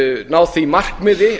ná því markmiði